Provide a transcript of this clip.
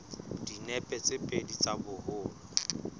dinepe tse pedi tsa boholo